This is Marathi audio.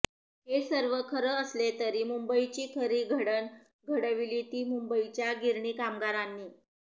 हे सर्व खरं असले तरी मुंबईची खरी घडण घडविली ती मुंबईच्या गिरणी कामगारांनी